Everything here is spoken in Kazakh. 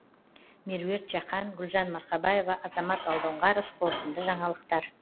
меруерт жақан гүлжан марқабаева азамат алдоңғаров қорытынды жаңалықтар